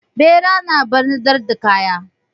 Ɓera na ɓarnatar da kaya.